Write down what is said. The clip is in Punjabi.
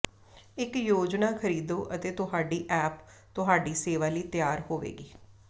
ਇੱਕ ਯੋਜਨਾ ਖਰੀਦੋ ਅਤੇ ਤੁਹਾਡੀ ਐਪ ਤੁਹਾਡੀ ਸੇਵਾ ਲਈ ਤਿਆਰ ਹੋਵੇਗੀ